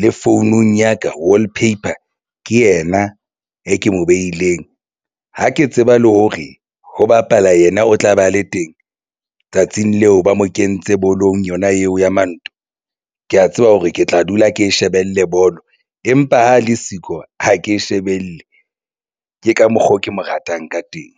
le founung ya ka wallpaper ke yena e ke mo behileng. Ha ke tseba le hore ho bapala yena o tla ba le teng tsatsing leo ba mo kentse bolong yona eo ya maoto ke ya tseba hore ke tla dula ke shebelle bolo, empa ha le siko ha ke shebelle ke ka mokgwa oo ke mo ratang ka teng.